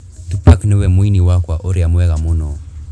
Tupac nĩwe mũini wakwa ũrĩa mwega mũno